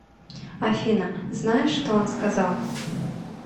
афина знаешь что он сказал